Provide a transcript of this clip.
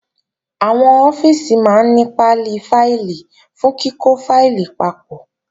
Àwọn ọ́fíìsì máa ní pálí fáìlì fún kíkọ́ fáìlì papọ̀